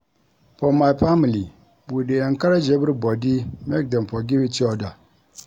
For my family, we dey encourage everybody make dem forgive eachoda.